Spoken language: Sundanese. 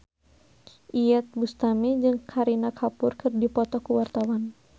Iyeth Bustami jeung Kareena Kapoor keur dipoto ku wartawan